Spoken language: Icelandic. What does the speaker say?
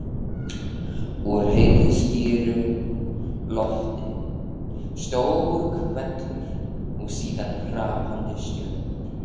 Úr heiðskíru lofti: stór hvellur og síðan hrapandi stjörnur.